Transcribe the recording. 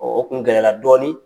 o kun gɛlɛyara dɔɔnin